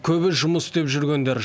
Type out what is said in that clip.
көбі жұмыс іздеп жүргендер